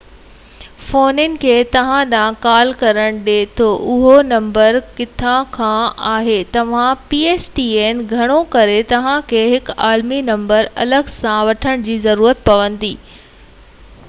گهڻو ڪري توهان کي هڪ عالمي نمبر الڳ سان وٺڻ جي ضرورت پوندي آهي جيڪو pstn فونن کي توهان ڏانهن ڪال ڪرڻ ڏي ٿو اهو نمبر ڪٿان کان آهي توهان کي فون ڪرڻ وارن ماڻهن کي فرق پوي ٿو